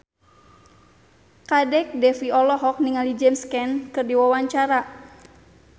Kadek Devi olohok ningali James Caan keur diwawancara